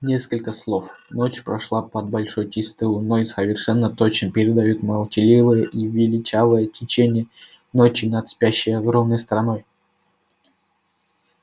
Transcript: несколько слов ночь прошла под большой чистой луной совершенно точно передают молчаливое и величавое течение ночи над спящей огромной страной